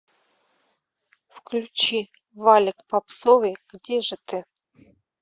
включи валик попсовый где же ты